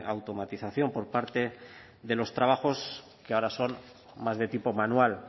automatización por parte de los trabajos que ahora son más de tipo manual